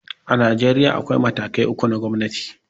A Najeriya, akwai matakai uku na gomnati.